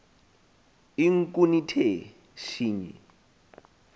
inkun ithe shinyi